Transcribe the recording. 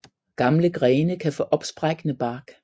Gamle grene kan få opsprækkende bark